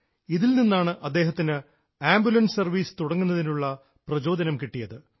ഇതിൽ നിന്നാണ് അദ്ദേഹത്തിന് ആംബുലൻസ് സർവ്വീസ് തുടങ്ങുന്നതിനുള്ള പ്രചോദനം കിട്ടിയത്